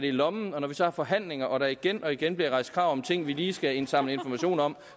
i lommen og når vi så har forhandlinger og der igen og igen bliver rejst krav om ting vi lige skal indsamle informationer om